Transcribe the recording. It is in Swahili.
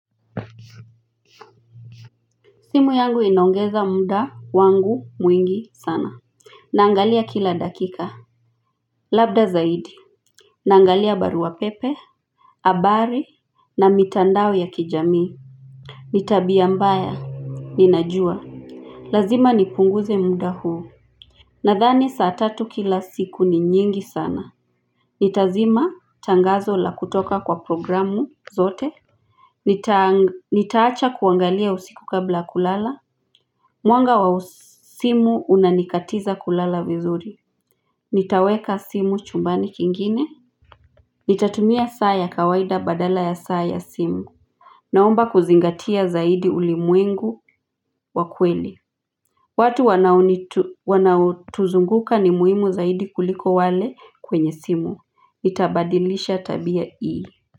Simu yangu inaongeza muda wangu mwingi sana Naangalia kila dakika Labda zaidi Naangalia baruapepe habari na mitandao ya kijamii ni tabia mbaya, ninajua Lazima nipunguze muda huu Nadhani saa tatu kila siku ni nyingi sana Nitazima tangazo la kutoka kwa programu zote Nitaacha kuangalia usiku kabla kulala Mwanga wa simu unanikatiza kulala vizuri Nitaweka simu chumbani kingine Nitatumia saa ya kawaida badala ya saa ya simu Naomba kuzingatia zaidi ulimwengu wa kweli watu wanaotuzunguka ni muhimu zaidi kuliko wale kwenye simu Nitabadilisha tabia hii.